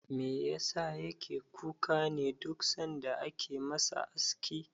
Me yasa yake kuka ne duk sanda ake masa aski?